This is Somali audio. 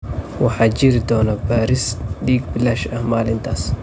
Waxaa jiri doona baaris dhiig bilaash ah maalintaas.